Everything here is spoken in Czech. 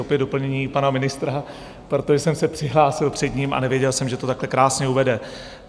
Opět doplnění pana ministra, protože jsem se přihlásil před ním a nevěděl jsem, že to takhle krásně uvede.